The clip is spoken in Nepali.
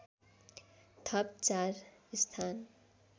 थप ४ स्थान